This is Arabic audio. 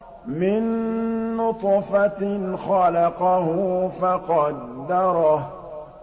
مِن نُّطْفَةٍ خَلَقَهُ فَقَدَّرَهُ